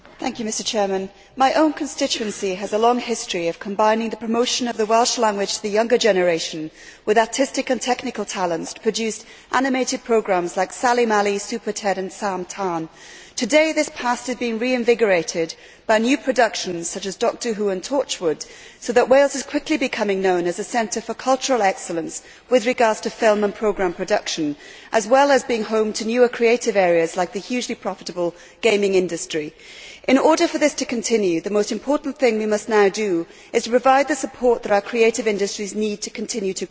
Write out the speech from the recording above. Mr President, my own constituency has a long history of combining the promotion of the Welsh language to the young generation with artistic and technical talents to produce animated programmes like Sally Mally, Super Ted and Sam Tân. Today, this past has been reinvigorated by new productions such as Dr Who and Torchwood, so that Wales is quickly becoming known as a centre for cultural excellence with regard to film and programme production, as well as being home to newer creative areas, like the hugely profitable gaming industry. In order for this to continue, the most important thing we must now do is to provide the support that our creative industries need to continue to grow.